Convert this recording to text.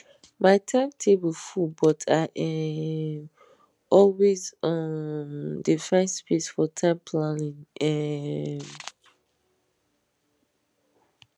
my time table full but i um always um dey find space for time planning um